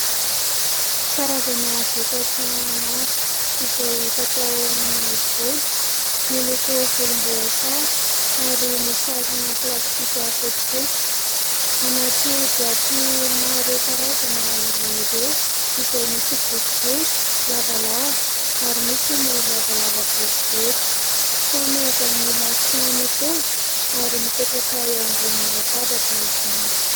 Karazana vokatra maro izay fatao amin'ny volo, miloko volomboasary ary misarona plastika fotsifotsy, anaty boatỳ maro karazana izy ireo izay misy boribory lavalava ary misy ny lavalava boribory ; samy avy amin'ny marika mitovy ary mipetraka eo ambonin'ny latabatra izany.